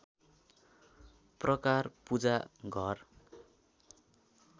प्रकार पूजा घर